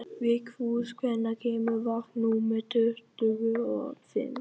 Vigfús, hvenær kemur vagn númer tuttugu og fimm?